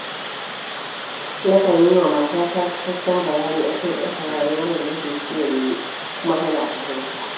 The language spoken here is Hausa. Nakan yi wa matata cikakken bayani a kan irin rayuwar da nake so mu yi, kuma tana fahimta.